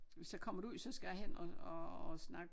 Hvis jeg kommer derud så skal jeg hen og og og snakke